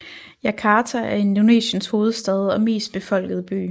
Jakarta er Indonesiens hovedstad og mest befolkede by